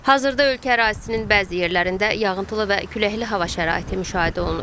Hazırda ölkə ərazisinin bəzi yerlərində yağıntılı və küləkli hava şəraiti müşahidə olunur.